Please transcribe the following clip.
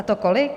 A to kolik?